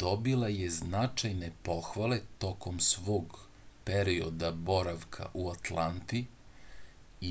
dobila je i značajne pohvale tokom svog perioda boravka u atlanti